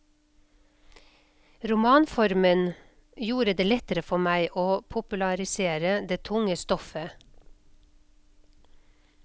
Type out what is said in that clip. Romanformen gjorde det lettere for meg å popularisere det tunge stoffet.